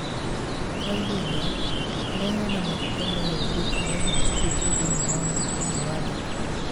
Kwa ihinda, harĩa hena maguta meyũmbĩte nohatuthuke thĩiniĩ wa mũkiha wa thakame